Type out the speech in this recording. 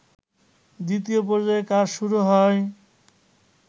দ্বিতীয় পর্যায়ের কাজ শুরু হয়